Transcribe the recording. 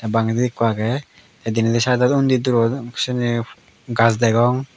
bangedi ekko agey tey denedi saaidot undi durot sini gaj degong.